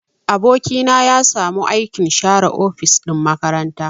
Aboki na ya samu aikin share ofis ɗin makaranta.